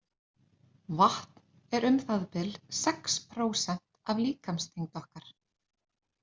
Vatn er um það bil sex prósent af líkamsþyngd okkar.